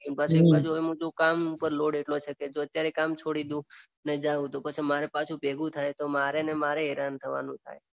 પાછું એટલું બધું કામનો લોડ આટલો છે કે જો અત્યારે કામ છોડી દઉં ના જાઉ તો મારે પાછું ભેગું થાય તો મારે ને મારે હેરાન થવાનું થાય.